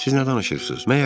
Siz nə danışırsınız?